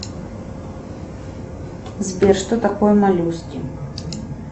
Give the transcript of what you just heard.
сбер что такое моллюски